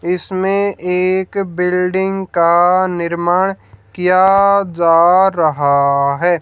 इसमें एक बिल्डिंग का निर्माण किया जा रहा है।